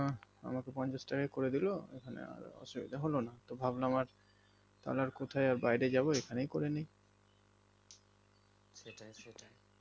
আমাকে পঞ্চাশ টাকায় করে দিলো এখানে আর অসুবিধা হলো না তো ভাবলাম আর কোথায় আর বাইরে যাবো এখানেই করে নেই